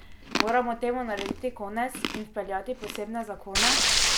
Moramo temu narediti konec in vpeljati posebne zakone?